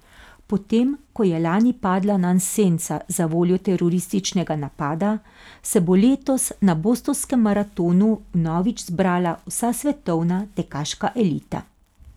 Potem ko je lani padla nanj senca zavoljo terorističnega napada, se bo letos na Bostonskem maratonu vnovič zbrala vsa svetovna tekaška elita.